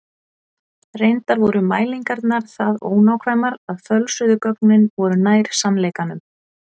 Reyndar voru mælingarnar það ónákvæmar að fölsuðu gögnin voru nær sannleikanum.